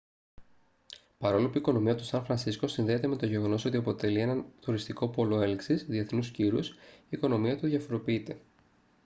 παρόλο που η οικονομία του σαν φρανσίσκο συνδέεται με το γεγονός ότι αποτελεί έναν τουριστικό πόλο έλξης διεθνούς κύρους η οικονομία του διαφοροποιείται